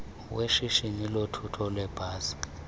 weshishini lothutho lweebhasi